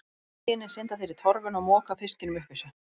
Með opið ginið synda þeir í torfuna og moka fiskinum upp í sig.